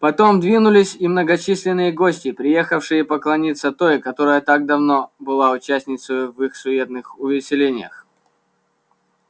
потом двинулись и многочисленные гости приехавшие поклониться той которая так давно была участницею в их суетных увеселениях